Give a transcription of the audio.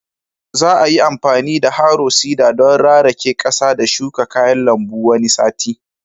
Za a yi amfani da harrow seeder don rarake ƙasa da shuka kayan lambu wani sati